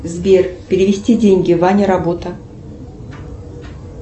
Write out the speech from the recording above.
сбер перевести деньги ваня работа